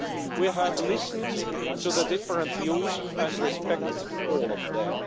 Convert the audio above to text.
We have listened to the different views and respect all of them.